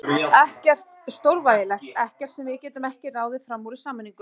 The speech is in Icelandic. Ekkert stórvægilegt, ekkert sem við getum ekki ráðið fram úr í sameiningu.